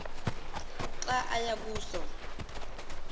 xa aya kuso